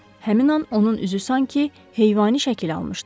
Həmin an onun üzü sanki heyvani şəkil almışdı.